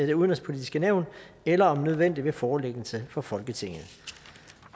det udenrigspolitiske nævn eller om nødvendigt ved forelæggelse for folketinget